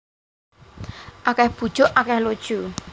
Akeh bujuk akeh lojo